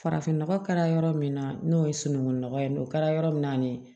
Farafin nɔgɔ kɛra yɔrɔ min na n'o ye sunungu nɔgɔ ye o kɛra yɔrɔ min na